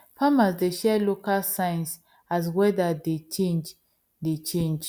farmers dey share local signs as weather dey change dey change